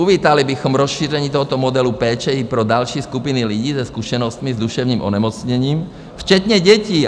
Uvítali bychom rozšíření tohoto modelu péče i pro další skupiny lidí se zkušenostmi s duševním onemocněním včetně dětí."